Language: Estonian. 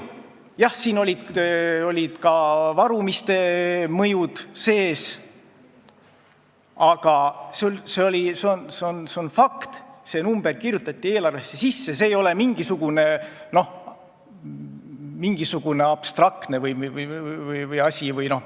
Jah, siin oli ka varumise mõju sees, aga see on fakt, see number kirjutati eelarvesse sisse, see ei ole mingisugune abstraktne asi.